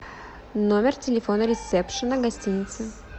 номер телефона ресепшена гостиницы